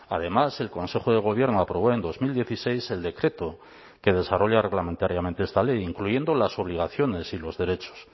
además el consejo de gobierno aprobó en dos mil dieciséis el decreto que desarrolla reglamentariamente esta ley incluyendo las obligaciones y los derechos